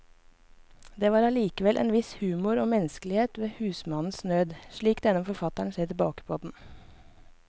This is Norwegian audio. Det var allikevel en viss humor og menneskelighet over husmannens nød, slik denne forfatteren ser tilbake på den.